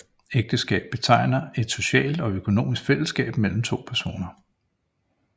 Ægteskab betegner et socialt og økonomisk fællesskab mellem to personer